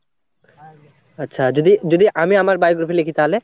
আচ্ছা যদি যদি আমি আমার biography লিখি তাহলে?